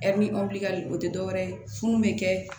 o tɛ dɔwɛrɛ ye fu bɛ kɛ